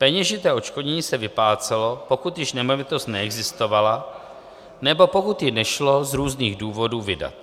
Peněžité odškodnění se vyplácelo, pokud již nemovitost neexistovala nebo pokud ji nešlo z různých důvodů vydat.